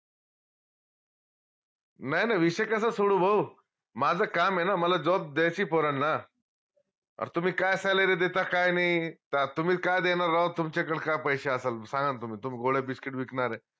नाई नाई विषय कसा सोडू हो माझं काम ए ना मला job द्यायची पोरांना आता तुम्ही काय salary देता काय नाई त्यात तुम्ही काय देनार राव तुमच्याकडं काय पैशे असलं सांगणं न तुम्ही तुम्ही गोळ्या biscuit विकनारे